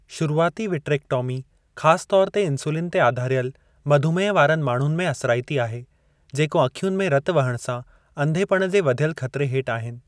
शुरुआती विक्ट्रेक्टॉमी ख़ासु तौरु ते इंसुलिन ते आधारियलु मधुमेह वारनि माण्हुनि में असराईती आहे, जेको अखियुनि में रतु वहणु सां अंधेपणे जे वधियलु ख़तरे हेठि आहिनि।